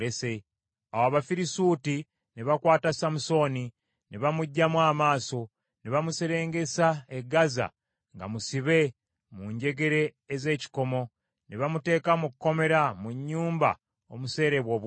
Awo Abafirisuuti ne bakwata Samusooni, ne bamuggyamu amaaso, ne bamuserengesa e Gaza nga musibe mu njegere ez’ekikomo, ne bamuteeka mu kkomera mu nnyumba omuseerebwa obuwunga.